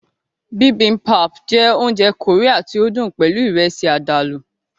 Bibimbap jẹ́ oúnjẹ Korean tí ó dùn pẹlú Ìrẹ́sì àdàlù